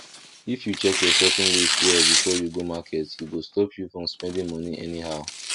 if you check your shopping list well before you go market e go stop you from spending money anyhow